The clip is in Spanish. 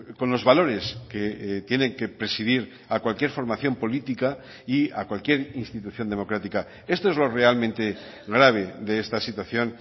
con los valores que tienen que presidir a cualquier formación política y a cualquier institución democrática esto es lo realmente grave de esta situación